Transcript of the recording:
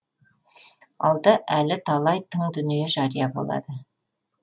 алда әлі талай тың дүние жария болады